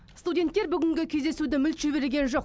студенттер бүгінгі кездесуді мүлт жіберген жоқ